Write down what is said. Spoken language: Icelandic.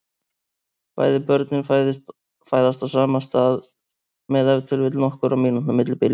Bæði börnin fæðast á sama stað með ef til vill nokkurra mínútna millibili.